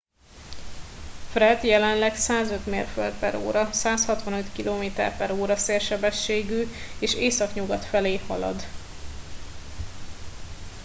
fred jelenleg 105 mérföld/óra 165 km/ó szélsebességgű és északnyugat felé halad